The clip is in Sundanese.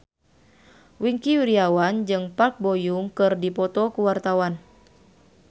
Wingky Wiryawan jeung Park Bo Yung keur dipoto ku wartawan